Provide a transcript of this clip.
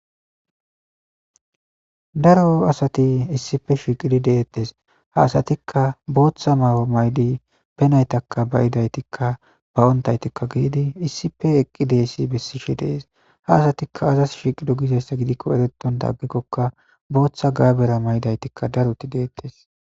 Daro asati issippe shiiqidi de'etees; ha asatikka bootha mayo mayidi be naytakka ba'idaytikka ba'ontaytikka gididi issippe eqqidessi besishe de'es; ha asatikka aazas shiiqido gizayssa gidikko eretota agikokka bootha gabera mayidaytikka daroti de'etees.